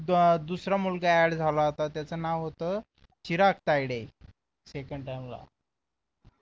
दुसरा मुलगा add झाला होता त्याच नाव होत चिराग तायडे second time ला